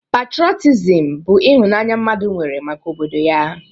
Patrọtism bụ ịhụnanya mmadụ nwere maka obodo ya.